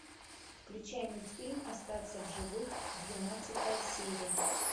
включай мультфильм остаться в живых двенадцатая серия